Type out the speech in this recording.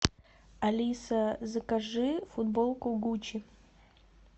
алиса закажи футболку гуччи